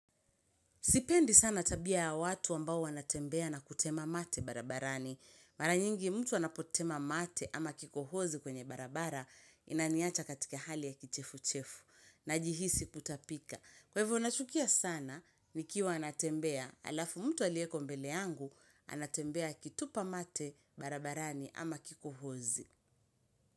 Sipendi sana tabia ya watu ambao wanatembea na kutema mate barabarani. Mara nyingi mtu anapotema mate ama kikohozi kwenye barabara inaniacha katika hali ya kichefu-chefu najihisi kutapika. Kwevo nachukia sana ni kiwa anatembea alafu mtu alieko mbele yangu anatembea akitupa mate barabarani ama kikohozi.